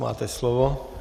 Máte slovo.